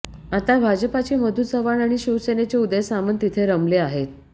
आता भाजपाचे मधू चव्हाण आणि शिवसेनेचे उदय सामंत तिथे रमले आहेत